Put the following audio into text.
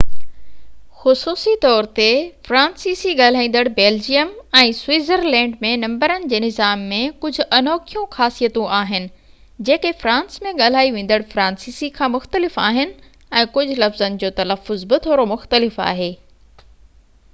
خصوصي طور تي فرانسيسي ڳالهائيندڙ بيلجيم ۽ سوئٽزرلينڊ ۾ نمبرن جي نظام ۾ ڪجهه انوکيون خاصيتون آهن جيڪي فرانس ۾ ڳالهائي ويندڙ فرانسيسي کان مختلف آهن ۽ ڪجهه لفظن جو تلفظ به ٿورو مختلف آهي